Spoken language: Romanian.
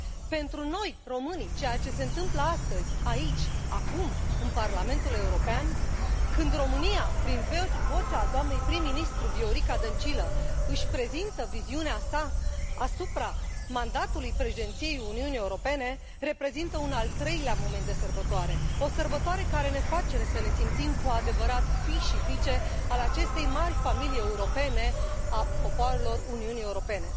Pentru noi, românii, ceea ce se întâmplă astăzi, aici, acum, în Parlamentul European, când România, prin vocea doamnei prim ministru Viorica Dăncilă, își prezintă viziunea sa asupra mandatului Președinției Uniunii Europene, reprezintă un al treilea moment de sărbătoare, o sărbătoare care ne face să ne simțim cu adevărat fii și fiice ale acestei mari familii europene a popoarelor Uniunii Europene.